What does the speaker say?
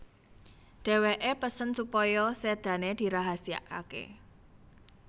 Dheweké pesen supaya sedane dirahasiakake